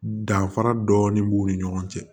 Danfara dɔɔni b'u ni ɲɔgɔn cɛ